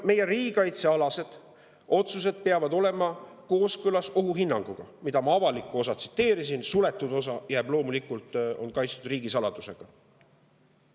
Meie riigikaitsealased otsused peavad olema kooskõlas ohuhinnanguga, mille avalikku osa ma tsiteerisin, suletud osa on loomulikult kaitstud riigisaladusega.